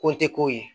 Ko tɛ ko ye